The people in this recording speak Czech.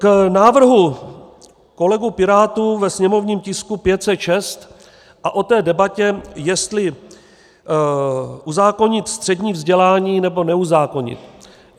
K návrhu kolegů Pirátů ve sněmovním tisku 506 a k té debatě, jestli uzákonit střední vzdělání, nebo neuzákonit.